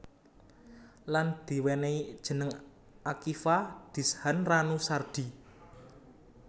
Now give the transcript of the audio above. Lan diwenenhi jeneng Akiva Dishan Ranu Sardi